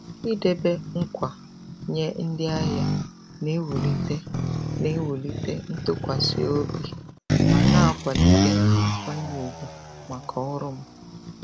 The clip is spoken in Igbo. Idebe nkwa nye ndị ahịa na-ewulite na-ewulite ntụkwasị obi ma na-akwalite nkwanye ùgwù maka ọrụ m.